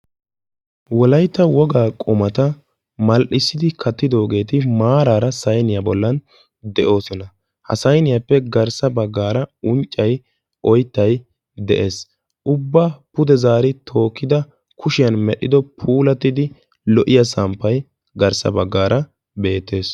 Wolaytta wogaa qumata mal"issidi kattidoogeti maarara sayniyaa bollan de'oosona. ha sayniyaappe garssa baggaara unccay oyttay de'ees. ubbaa pude zaari tokkido kushshiyaan medhdhido puulattidi lo"iyaa samppay garssa baggaara beettes.